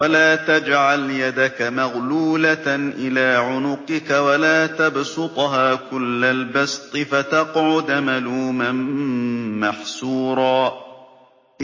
وَلَا تَجْعَلْ يَدَكَ مَغْلُولَةً إِلَىٰ عُنُقِكَ وَلَا تَبْسُطْهَا كُلَّ الْبَسْطِ فَتَقْعُدَ مَلُومًا مَّحْسُورًا